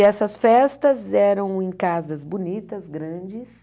E essas festas eram em casas bonitas, grandes.